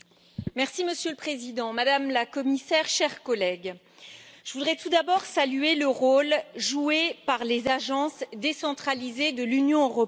Monsieur le Président, Madame la Commissaire, chers collègues, je voudrais tout d'abord saluer le rôle joué par les agences décentralisées de l'Union européenne.